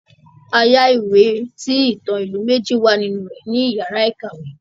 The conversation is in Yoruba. A yá ìwé tí ìtàn ilu méjì wà nínú rẹ̀ ní iyàrá ìkàwé.